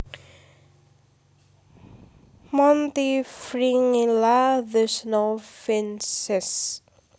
Montifringilla the snowfinches